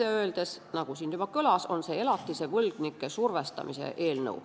Otse öeldes, nagu siin juba kõlas, on see elatisvõlgnike survestamise eelnõu.